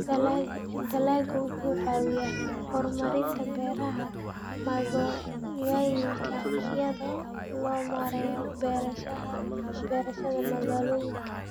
Dalaggu wuxuu caawiyaa horumarinta beeraha magaalooyinka iyadoo loo marayo beerashada magaalooyinka.